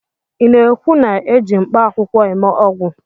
ị na-ekwu na eji mkpaakwụkwọ eme ọgwụ?